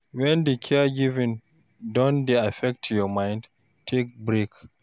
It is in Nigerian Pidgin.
When di caregiving don dey affect your mind, take break